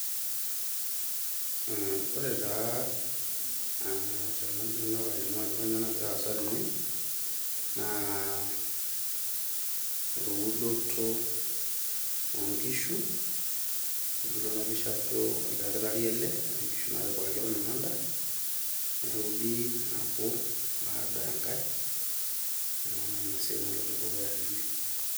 Eeh ore taa tenajo anyok alimu ajo kainyioo nagira aasa tene , naa eudoto oonishu , kitodolu ena pisha ajo oldakitari ele ,nkishu natpiikaki nabo , baada enkae niaku naa ina siai naloito dukuya tene.